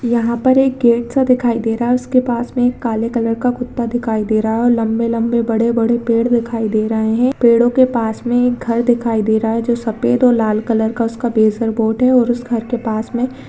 यहाँ पर एक गेट सा दिखाई दे रहा है उसके पास में एक काले कलर का कुत्ता दिखाई दे रहा है और लम्बे-लम्बे बड़े-बड़े पेड़ दिखाई दे रहे हैं पेड़ो के पास में एक घर दिखाई दे रहा है जो सफ़ेद और लाल कलर का उसका पेसर बोट है और उस घर के पास में --